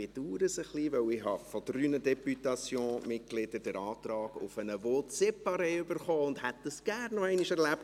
Ich bedauere es ein wenig, denn ich habe von drei Députationsmitgliedern den Antrag auf ein « vote separé » erhalten, und hätte das gerne noch einmal erlebt.